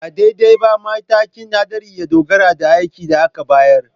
Ba daidai ba, matakin haɗari ya dogara da aikin da aka bayar